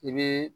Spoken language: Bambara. I bi